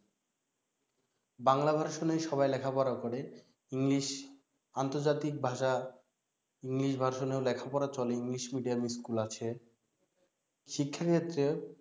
Bangla version সবাই লেখাপড়া করে english আন্তর্জাতিক ভাষা english version ও লেখাপড়া চলে english medium school আছে শিক্ষা ক্ষেত্রে